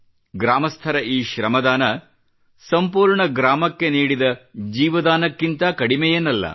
ಗ್ರಾಮಸ್ಥರ ಈ ಶ್ರಮದಾನ ಸಂಪೂರ್ಣ ಗ್ರಾಮಕ್ಕೆ ನೀಡಿದ ಜೀವದಾನಕ್ಕಿಂತ ಕಡಿಮೆಯೇನಲ್ಲ